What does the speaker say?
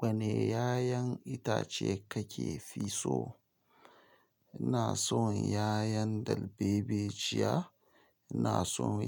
Wane 'ya'yan itace kake fi so? Ima san yayan dalbejiya, ina san